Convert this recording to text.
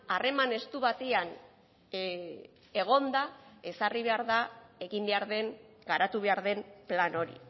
harreman estu batean egonda ezarri behar da egin behar den garatu behar den plan hori